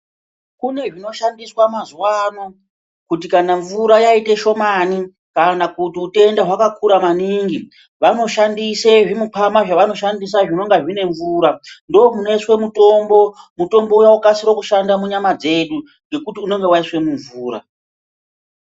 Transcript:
Kunezvinoshandiswa mazuwa ano kuti kana mvura yaite shomani kana kuti utenda hwakakura maningi vanoshandise zvimukwama zvavanoshandisa zvinonga zvine mvura ndomunoiswe mutombo ,mutombo uya wokasike kushanda munyama dzedu ngekuti unonga waiswe mumvura.